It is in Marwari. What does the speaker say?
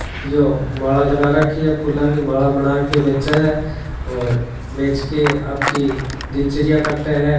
यो माला लगा रखी है फूलों की फूलों की माला बना कर बेचे है और बेचके आपकी दिनचरिया काट है।